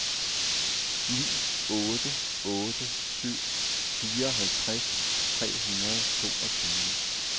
ni otte otte syv fireoghalvtreds tre hundrede og toogtyve